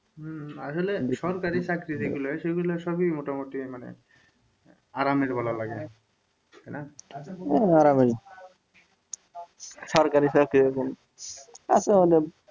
আসলে সরকারি চাকরি যেগুলো হয় সেগুলো সবই মোটামুটি মানে আরামের বলা লাগে কেনে না আরামেরই সরকারি চাকরির গুণ আছে অনেক।